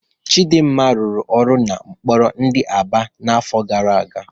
Chidinma rụrụ ọrụ n'ụlọ mkpọrọ di n'Aba n'afọ gara aga.